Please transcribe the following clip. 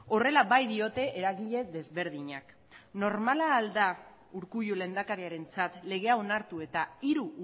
horrela baitiote eragile desberdinek normala da urkullu lehendakariaretzat legea onartu eta hiru